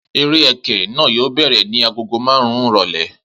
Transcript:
Eré ẹkẹ náà yóò bẹ̀rẹ̀ ní agogo marun-un ìrọ̀lẹ́